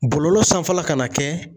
Bɔlɔlɔ sanfɛla kana kɛ